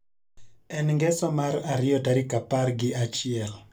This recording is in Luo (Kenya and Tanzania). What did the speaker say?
En ngeso mar ariyo tarik apar gi achiel